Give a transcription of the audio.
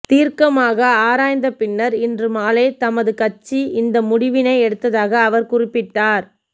தீர்க்கமாக ஆராய்ந்த பின்னர் இன்று மாலை தமது கட்சி இந்த முடிவினை எடுத்ததாக அவர் குறிப்பிட்டார்